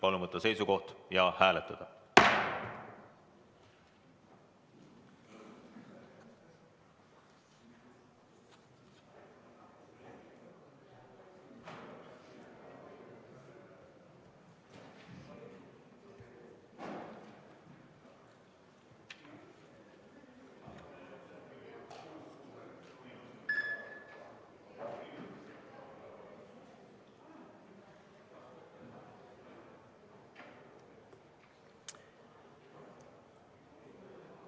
Palun võtta seisukoht ja hääletada!